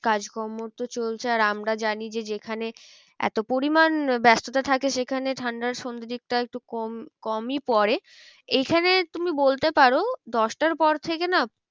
কাজ কর্ম তো চলছে আর আমরা জানি যে যেখানে এতো পরিমান ব্যস্ততা থাকে সেখানে ঠান্ডা সন্ধের দিকটা একটু কম, কমই পরে। এখানে তুমি বলতে পারো দশটার পর থেকে না